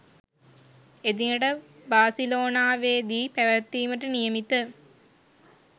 එදිනට බාසිලෝනාවේදී පැවැත්වීමට නියමිත